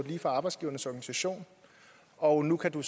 lige fra arbejdsgivernes organisation og nu kan